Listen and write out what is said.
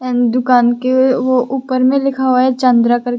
दुकान के ऊपर में लिखा हुआ है चंद्रा--